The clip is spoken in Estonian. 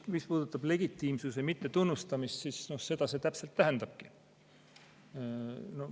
Mis puudutab legitiimsuse mittetunnustamist, siis seda see täpselt tähendabki.